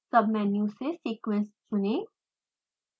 submenu से sequence चुने